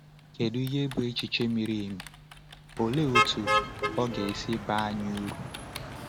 Kedu ihe bụ echiche miri emi, olee otú ọ ga-esi baa anyị uru?